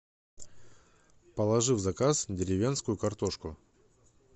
положи в заказ деревенскую картошку